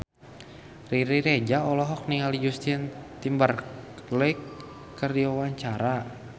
Riri Reza olohok ningali Justin Timberlake keur diwawancara